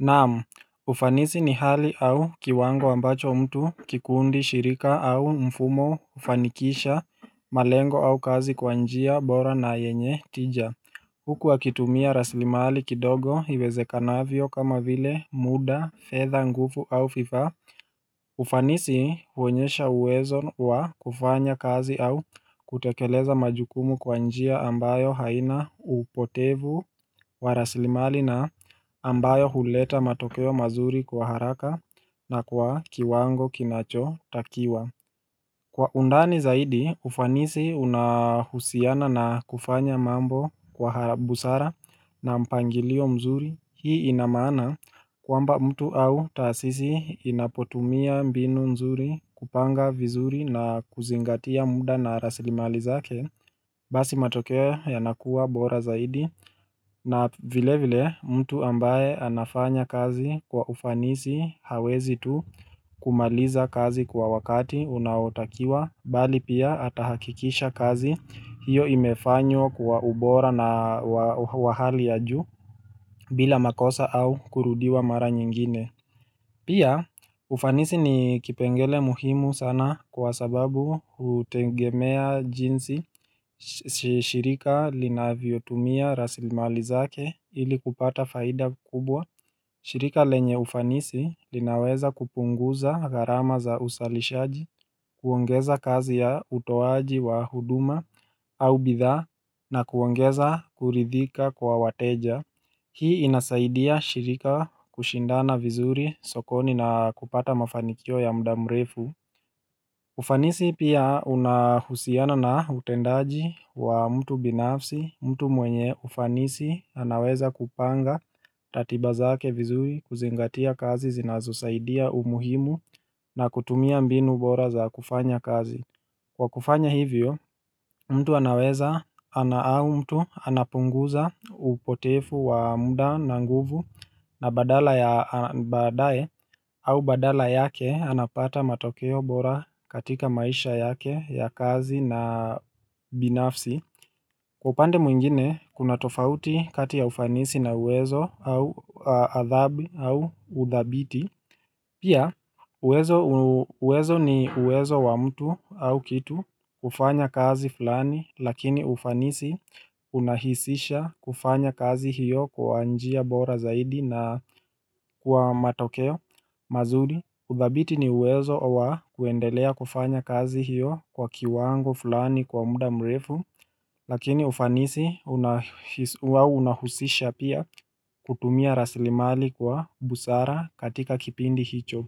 Nam, ufanisi ni hali au kiwango ambacho mtu kikundi shirika au mfumo hufanikisha malengo au kazi kwa njia bora na yenye tija Huku wakitumia rasili mali kidogo iwezekanavyo kama vile muda fedha nguvu au fifa ufanisi huonyesha uwezo wa kufanya kazi au kutekeleza majukumu kwa njia ambayo haina upotevu wa rasilimali na ambayo huleta matokeo mazuri kwa haraka na kwa kiwango kinachotakiwa Kwa undani zaidi, ufanisi unahusiana na kufanya mambo kwa busara na mpangilio mzuri hii ina maana kwamba mtu au taasisi inapotumia mbinu mzuri kupanga vizuri na kuzingatia muda na rasili mali zake Basi matokeo yanakuwa bora zaidi na vile vile mtu ambaye anafanya kazi kwa ufanisi hawezi tu kumaliza kazi kwa wakati unaotakiwa bali pia atahakikisha kazi hiyo imefanywa kwa ubora na wa hali ya juu bila makosa au kurudiwa mara nyingine Pia ufanisi ni kipengele muhimu sana kwa sababu hutegemea jinsi shirika linavyotumia rasilimali zake ili kupata faida kubwa shirika lenye ufanisi linaweza kupunguza gharama za usalishaji, kuongeza kazi ya utoaji wa huduma au bidhaa na kuongeza kuridhika kwa wateja Hii inasaidia shirika kushindana vizuri sokoni na kupata mafanikio ya mda mrefu ufanisi pia unahusiana na utendaji wa mtu binafsi mtu mwenye ufanisi anaweza kupanga ratiba zake vizuri kuzingatia kazi zinazosaidia umuhimu na kutumia mbinu bora za kufanya kazi Kwa kufanya hivyo, mtu anaweza ana au mtu anapunguza upotefu wa muda na nguvu na badala ya baadae au badala yake anapata matokeo bora katika maisha yake ya kazi na binafsi. Kwa upande mwingine, kuna tofauti kati ya ufanisi na uwezo au athabi au udhabiti. Pia uwezo ni uwezo wa mtu au kitu kufanya kazi fulani lakini ufanisi unahisisha kufanya kazi hiyo kwa njia bora zaidi na kwa matokeo mazuri. Udhabiti ni uwezo wa kuendelea kufanya kazi hiyo kwa kiwango fulani kwa muda mrefu lakini ufanisi unahusisha pia kutumia rasilimali kwa busara katika kipindi hicho.